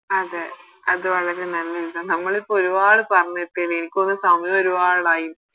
അതെ അത് വളരെ നല്ലെ ഇതാ നമ്മളിപ്പോ ഒരുപാട് പറഞ്ഞെത്തിന് എനിക്കൊന്ന് സമയം ഒരുപാടായി